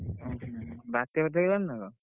ଓଃ ବାତ୍ୟା ଫାତୀୟା ହେଇଗଲାଣି ନା କଣ?